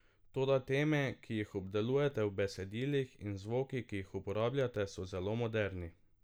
Toda teme, ki jih obdelujete v besedilih, in zvoki, ki jih uporabljate, so zelo moderni.